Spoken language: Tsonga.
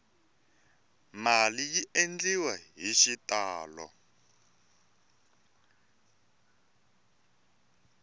mali yi endliwa hi xitalo